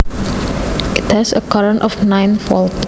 It has a current of nine volts